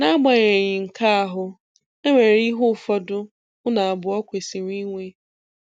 Nagbanyeghị nke ahụ, e nwere ihe ụfọdụ unu abụọ kwesịrị inwe.